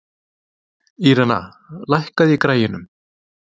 Irena, lækkaðu í græjunum.